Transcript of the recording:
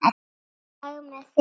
LAGI MEÐ ÞIG?